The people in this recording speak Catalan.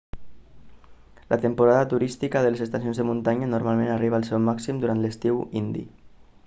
la temporada turística de les estacions de muntanya normalment arriba al seu màxim durant l'estiu indi